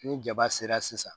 Ni jaba sera sisan